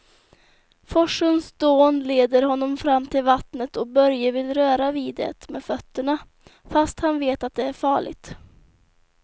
Forsens dån leder honom fram till vattnet och Börje vill röra vid det med fötterna, fast han vet att det är farligt.